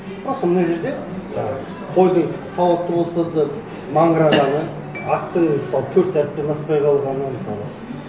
просто мына жерде жаңа қойдың сауатты болса да маңырағаны аттың мысалы төрт әріптен аспай қалғаны мысалы